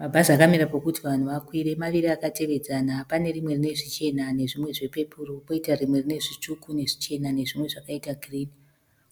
Mabhazi akamira pekuti vanhu vakwire. Maviri akatevedzana. Pane rimwe rine zvichena nezvimwe zvepepuri poita rimwe rinenzvitsvuku nezvichena nezvimwe zvakaita kirimu.